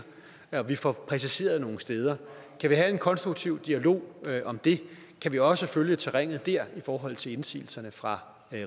at vi får præciseret nogle steder kan vi have en konstruktiv dialog om det kan vi også følge terrænet der i forhold til indsigelserne fra